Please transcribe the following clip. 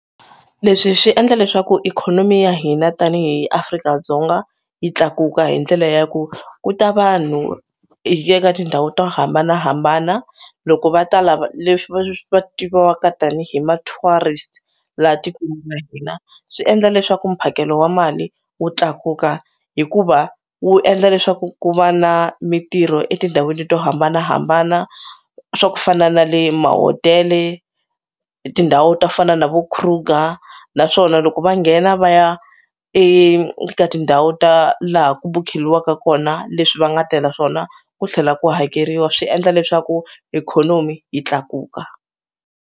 Leswi swi endla leswaku ikhonomi ya hina tanihi Afrika-Dzonga yi tlakuka hi ndlela ya ku ku ta vanhu ka tindhawu to hambanahambana loko va ta lava leswi va swi va tiviwaka tanihi ma-tourist laha tikweni ra hina swi endla leswaku mphakelo wa mali wu tlakuka hikuva wu endla leswaku ku va na mitirho etindhawini to hambanahambana swa ku fana na le mahotele tindhawu to fana na vo Kruger naswona loko va nghena va ya eka tindhawu ta laha ku bukheliwaka kona leswi va nga tela swona ku tlhela ku hakeriwa swi endla leswaku ikhonomi yi tlakuka.